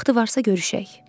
Vaxtı varsa görüşək.